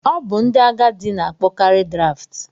Ọ bụ ndị agadi na-akpọkarị Draft.